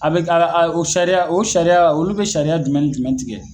A be o sariya o sariya olu be sariya jumɛn ni jumɛn tigɛ